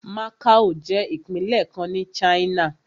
Macao jẹ́ ìpínlẹ̀ kan ní China.